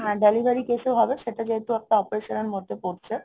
হ্যা delivery case ও হবে, সেটা যেহেতু একটা operation এর মধ্যে পড়ছে